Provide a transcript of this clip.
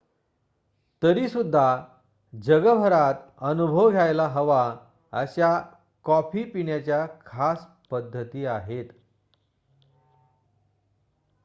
तरीसुद्धा जगभरात अनुभव घ्यायला हवा अशा कॉफी पिण्याच्या खास पद्धती आहेत